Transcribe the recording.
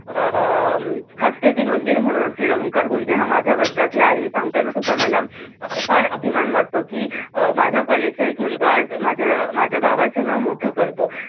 अं म हास्यविनोद वीर म्हणून असंलेला ओंकार गुर्ज हा माझ्या वर्गातला आहे हे सांगताना सुद्धा मला फार अभिमान वाटतो कि माझ्या कॉलेज चा एक मुलगा आज माझ्या अं माझ्या गावाचं नाव मोठं करतो.